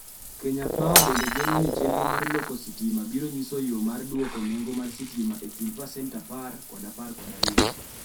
Kenya Power bende geno ni chenro mar loko stima biro nyiso yo mar dwoko nengo mar stima e kind pasent 10 kod 12.